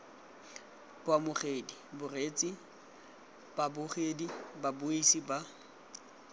baamogedi bareetsi babogedi babuisi ba